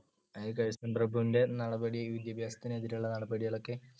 Curzon പ്രഭുവിന്‍ടെ നടപടി വിദ്യാഭ്യാസത്തിനെതിരുള്ള നടപടികളൊക്കെ